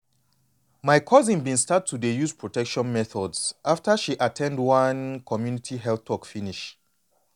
my cousin been start to dey use protection methods after she at ten d one community health talk finish